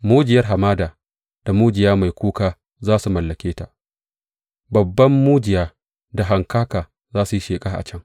Mujiyar hamada da mujiya mai kuka za su mallake ta; babban mujiya da hankaka za su yi sheƙa a can.